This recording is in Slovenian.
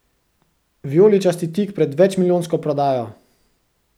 Vijoličasti tik pred večmilijonsko prodajo!